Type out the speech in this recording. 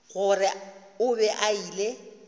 gore o be a ile